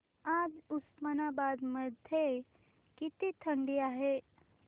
आज उस्मानाबाद मध्ये किती थंडी आहे